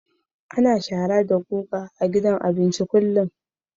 Ana shara da guga a gidan abinci kullum